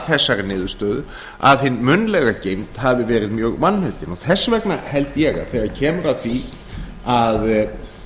þessari niðurstöðu að hin munnlega geymd hafi verið mjög vanmetin og þess vegna held ég að þegar kemur að því að það